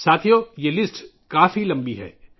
ساتھیو ، یہ فہرست بہت لمبی ہے